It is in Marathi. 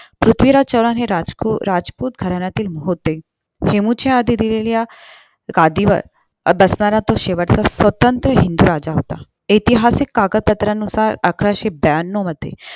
पृथ्वीराज चौहान हे राजकूर राजपूत घराण्याचे होते हेमू च्या आधी दिल्ली च्या गादीवर बसणारा तो शेवटचा स्वतंत्र हिंदू राजा होता ऐतिहासिक कागतपत्रानुसार अकराशे ब्यांनो मध्ये